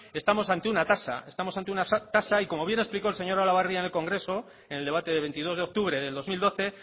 estamos ante una tasa estamos ante una tasa y como bien ha explicado el señor olabarria en el congreso en el debate de veintidós de octubre de dos mil doce